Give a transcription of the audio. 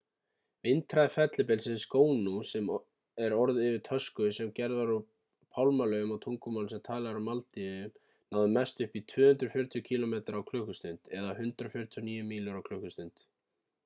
vindhraði fellibylsins gonu sem er orð yfir tösku sem gerð er úr pálmalaufum á tungumáli sem talað er á maldíveyjum náði mest upp í 240 kílómetra á klukkustund 149 mílur á klukkustund